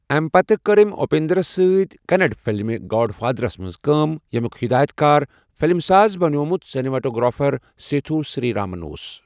اَمہِ مہِ پتہٕ کٔر أمۍ اُپیندرس سۭتۍ کننڑ فلم گاڈ فادرس منز کٲم ، ییٚمِیُک ہدایٖت کار فلِم ساز بنٛٮ۪ومت سنیماٹوگرافر سیتھو سری رامَن اوس۔